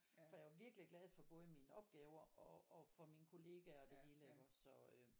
For jeg var virkelig glad for både mine opgaver og og for mine kollegaer og det hele iggås så øh